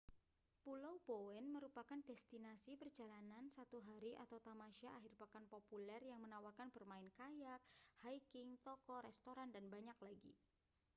pulau bowen merupakan destinasi perjalanan satu hari atau tamasya akhir pekan populer yang menawarkan bermain kayak hiking toko restoran dan banyak lagi